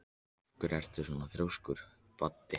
Af hverju ertu svona þrjóskur, Baddi?